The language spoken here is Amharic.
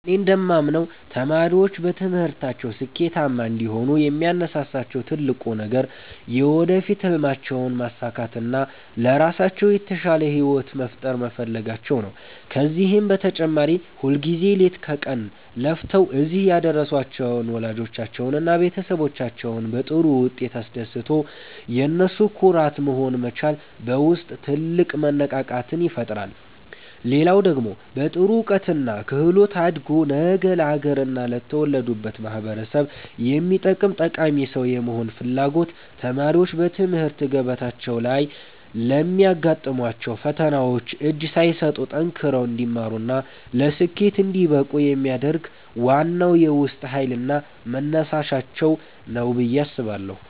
እኔ እንደማምነው ተማሪዎች በትምህርታቸው ስኬታማ እንዲሆኑ የሚያነሳሳቸው ትልቁ ነገር የወደፊት ሕልማቸውን ማሳካትና ለራሳቸው የተሻለ ሕይወት መፍጠር መፈለጋቸው ነው። ከዚህም በተጨማሪ ሁልጊዜ ሌት ከቀን ለፍተው እዚህ ያደረሷቸውን ወላጆቻቸውንና ቤተሰቦቻቸውን በጥሩ ውጤት አስደስቶ የነሱ ኩራት መሆን መቻል በውስጥ ትልቅ መነቃቃትን ይፈጥራል። ሌላው ደግሞ በጥሩ እውቀትና ክህሎት አድጎ ነገ ለአገርና ለተወለዱበት ማኅበረሰብ የሚጠቅም ጠቃሚ ሰው የመሆን ፍላጎት ተማሪዎች በትምህርት ገበታቸው ላይ ለሚያጋጥሟቸው ፈተናዎች እጅ ሳይሰጡ ጠንክረው እንዲማሩና ለስኬት እንዲበቁ የሚያደርግ ዋናው የውስጥ ኃይልና መነሳሻቸው ነው ብዬ አስባለሁ።